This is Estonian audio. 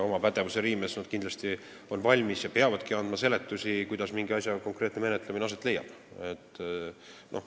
Oma pädevuse piires nad kindlasti on valmis ja peavadki andma seletusi, kuidas mingi asja menetlemine aset leiab.